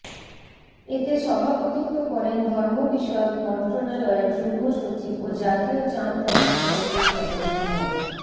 এতে সভাপতিত্ব করেন ধর্ম বিষয়ক মন্ত্রণালয়ের যুগ্মসচিব ও জাতীয় চাঁদ দেখা কমিটির সদস্য মো